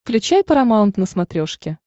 включай парамаунт на смотрешке